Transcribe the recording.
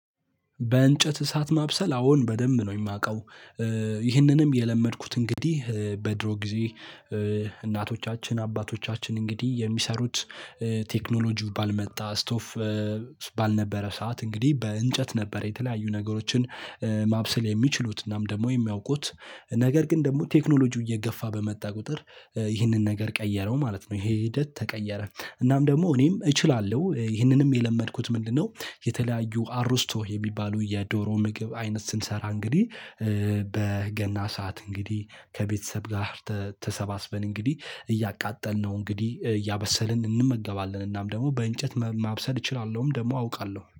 በእንጨት እሳት ማብሰል አዎን በደንብ ነው የማውቀው። ይህንንም የለመድኩት እንግዲህ በድሮ ጊዜ። እናቶቻችን አባቶቻችን እንግዲህ የሚሰሩት ቴክኖሎጂው ባልመጣ ስቶፍ ባልነበረ ሰዓት እንግዲህ በእንጨት ነበር የተለያዩ ነገሮችን። ማብሰል የሚችሉት እናም ደግሞ የሚያውቁት ነገር ግን ደግሞ ቴክኖሎጂው እየገፋ በመጣ ቁጥር ይህንን ነገር ቀየረው ማለት ነው። ይሄ ሂደት ተቀየረ። እናም ደግሞ እኔም እችላለሁ ይህንንም የለመድኩት ምንድነው? የተለያዩ አሩስቶህ የሚባሉ የዶሮ ምግብ አይነት ስንሰራ እንግዲህ በገና ሰዓት እንግዲህ ከቤተሰብ ጋር ተሰባስበን እንግዲህ እያቃጠልነው እንግዲህ እያበሰልን እንመገባለን። እናም ደግሞ በእንጨት ማብሰል እችላለሁም ደግሞ አውቃለሁ